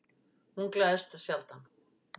Hún gleðst sjaldan.